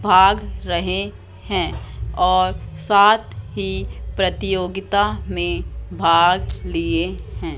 भाग रहें हैं और साथ ही प्रतियोगिता में भाग लिए हैं।